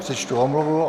Přečtu omluvu.